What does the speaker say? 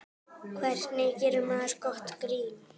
Hvernig gerir maður gott grín?